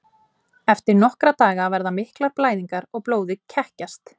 Eftir nokkra daga verða miklar blæðingar og blóðið kekkjast.